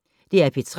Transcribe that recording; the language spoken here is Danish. DR P3